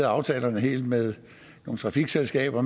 aftalerne helt med nogle trafikselskaber